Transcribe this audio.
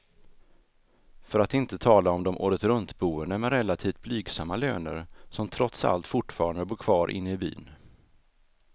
För att inte tala om de åretruntboende med relativt blygsamma löner, som trots allt fortfarande bor kvar inne i byn.